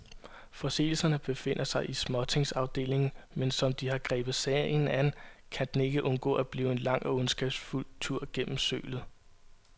Forseelserne befinder sig i småtingsafdelingen, men som de har grebet sagen an, kan den ikke undgå at blive en lang og ondskabsfuld tur gennem sølet.